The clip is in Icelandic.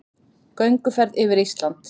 Gönguferð yfir Ísland